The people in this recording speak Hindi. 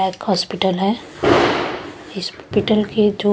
हॉस्पिटल है हॉस्पिटल के जो --